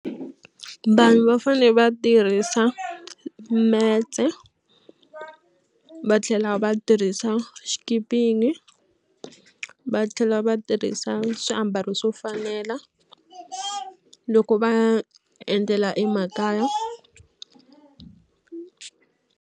Vanhu va fanele va tirhisa metse va tlhela va tirhisa va tlhela va tirhisa swiambalo swo fanela loko va endlela emakaya.